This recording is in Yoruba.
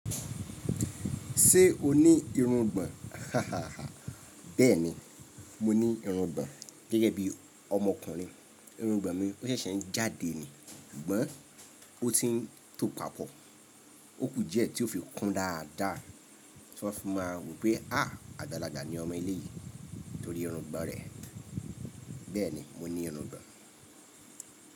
Ṣé o ní irungbọ̀n? Hahahaha. Bẹ́ẹ̀ni, mo ní irungbọ̀n gẹ́gẹ́ bí ọmọkùnrin. Irungbọ̀n mi ó ṣẹ̀ṣẹ̀ ń jáde ni, ṣùgbọ́n ó ti ń tò papọ̀. Ókù dí ẹ̀ tí yó fi kún dáadá tí wọ́n fi má wò wípé àgbàlagbà ni ọmọ eléyi nítorí irungbọ̀n rẹ̀. Bẹ́ẹ̀ni, mo ní irungbọ̀n.